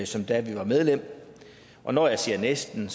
som da vi var medlem og når jeg siger næsten